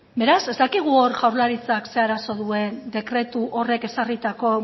beraz ez dakigu hor jaurlaritzak ze arazo duen dekretu horrek ezarritako